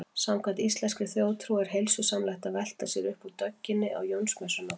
Samkvæmt íslenskri þjóðtrú er heilsusamlegt að velta sér upp úr dögginni á Jónsmessunótt.